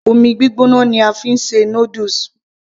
omi gbígbóná ni a fi ń ṣe noodles